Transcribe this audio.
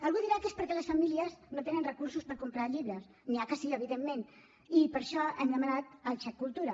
algú dirà que és perquè les famílies no tenen recursos per comprar llibres n’hi ha que sí evidentment i per això hem demanat el xec cultura